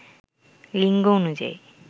লিঙ্গ অনুযায়ী